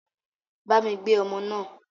Bámi gbé ọmọ náà.